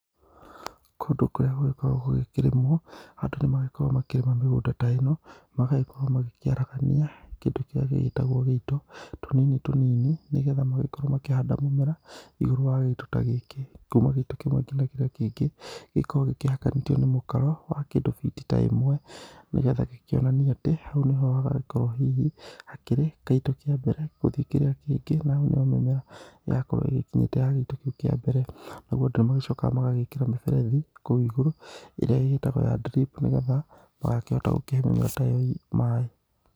Kũndũ kũrĩa gũgĩkoragũo gũgĩkĩrĩmũo, andũ nĩmagĩkoragũo makĩrĩma mĩgũnda ta ĩno, magagĩkorwo magĩkĩaragania kĩndũ kĩrĩa gĩgĩtagwo gĩito, tũnini tũnini nĩgetha magagĩkorwo makĩhanda mũmera igũrũ wa gĩito ta gĩkĩ. Kuma gĩito kĩmwe nginya kĩrĩa kĩngi, gĩkoragwo gĩkĩhakanĩtio nĩ mũkaro wa kĩdu feet ta ĩmwe, nĩgetha gĩkĩonanie atĩ hau nĩho hagagĩkorwo hihi hakĩri kĩito kĩa mbere guthi kĩrĩa kĩngi na hau niho mimera yakorwo ĩgĩkinyĩte ya gĩito kĩu kĩa mbere, naguo andũ nĩmagĩchokaga magekĩra mĩberethi kũu igũru ĩrĩa ĩtagwo ya drip nĩgetha magakĩhota kũhe mĩmera ta ĩyo maĩ.